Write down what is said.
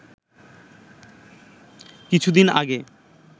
কিছুদিন আগে